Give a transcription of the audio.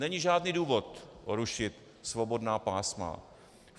Není žádný důvod rušit svobodná pásma.